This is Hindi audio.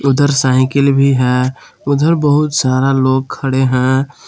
उधर साइकिल भी है उधर बहुत सारा लोग खड़े हैं।